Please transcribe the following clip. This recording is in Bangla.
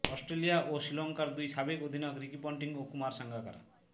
অস্ট্রেলিয়া ও শ্রীলঙ্কার দুই সাবেক অধিনায়ক রিকি পন্টিং ও কুমার সাঙ্গাকারা